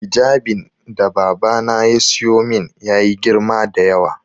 Hijabin da babana ya siyo min ya yi girma da yawa